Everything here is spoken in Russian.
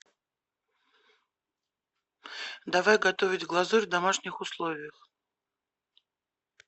давай готовить глазурь в домашних условиях